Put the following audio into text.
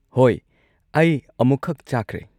ꯍꯣꯏ, ꯑꯩ ꯑꯃꯨꯛꯈꯛ ꯆꯥꯈ꯭ꯔꯦ꯫